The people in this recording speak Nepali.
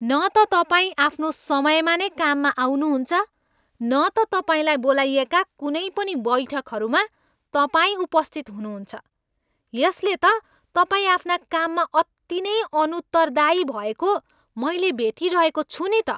न त तपाईँ आफ्नो समयमा नै काममा आउनु हुन्छ न त तपाईँलाई बोलाइएका कुनै पनि बैठकहरूमा तपाईँ उपस्थित हुनुहुन्छ, यसले त तपाईँ आफ्ना काममा अति नै अनुत्तरदायी भएको मैले भेटिरहेको छु नि त।